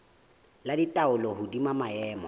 ba le taolo hodima maemo